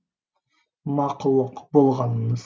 мақұлық болғаныңыз